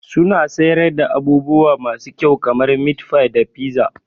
Suna siyar da abubuwa masu kyau kamar meatfie da pizza.